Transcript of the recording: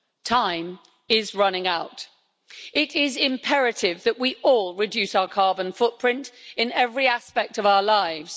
Time is running out. It is imperative that we all reduce our carbon footprint in every aspect of our lives.